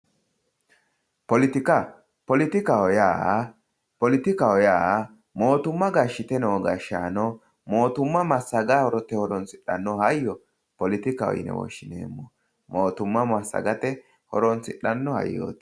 Poletika, poletikaho yaa mootuma gashshite noo gashshaano mootuma massagate horonsidhanoha hayyo poletikaho yine woshshineemmo mootuma massagate horonsidhano hayyoti.